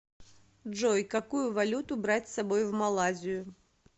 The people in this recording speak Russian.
джой какую валюту брать с собой в малайзию